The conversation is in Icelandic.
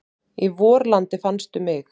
Í vorlandi fannstu mig.